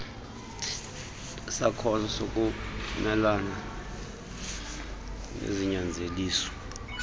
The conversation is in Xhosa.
sakhono sokumelana nezinyanzeliso